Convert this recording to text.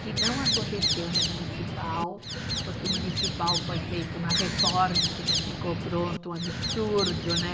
Que não aconteceu no municipal, porque o municipal foi feito uma reforma que não ficou pronto, um absurdo, né?